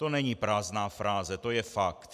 To není prázdná fráze, to je fakt.